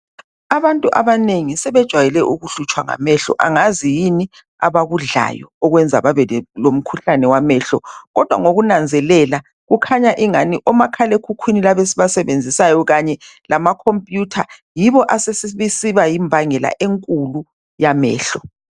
Abantu abanengi sebejwayele ukuhlutshwa ngamehlo, angazi yini abakudlayo okwenza babe le lomkhuhlane wamehlo, kodwa ngokunanzelela, kukhanya ingani omakhalekhukhwini laba esibasebenzisayo kanye lama computer yibo asesiba yimbangela enkulu yamehlo.